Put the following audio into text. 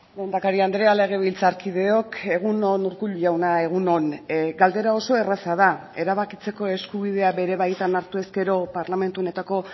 lehendakari andrea legebiltzarkideok egun on urkullu jauna egun on galdera oso erraza da erabakitzeko eskubidea bere baitan hartu ezkero parlamentu honetako